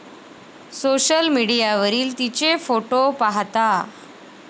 Social मीडियावरील तिचे फोटो पाहता.